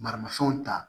Maramafɛnw ta